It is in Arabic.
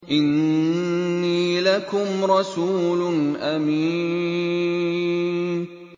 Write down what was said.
إِنِّي لَكُمْ رَسُولٌ أَمِينٌ